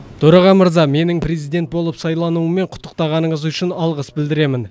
төраға мырза менің президент болып сайлануыммен құттықтағаныңыз үшін алғыс білдіремін